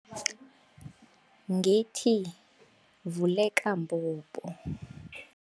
Ngethi vuleka mbobo.